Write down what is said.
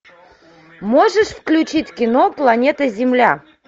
можешь включить кино планета земля